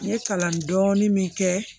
N ye kalan dɔɔni min kɛ